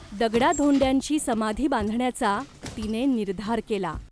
दगडाधोंड्यांची समाधी बांधण्याचा तिने निर्धार केला.